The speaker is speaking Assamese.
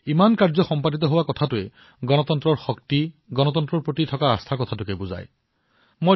এনেদৰে কাম হোৱাটো স্বয়ংক্ৰিয়ভাৱে ভাৰতীয় গণতন্ত্ৰৰ প্ৰতি আস্থা বৃদ্ধি হোৱাক প্ৰদৰ্শিত কৰিছে